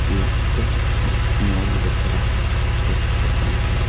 एक मॉल दिख रहा है जिसके अंदर--